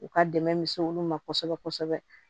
U ka dɛmɛ misɛn olu ma kosɛbɛ kosɛbɛ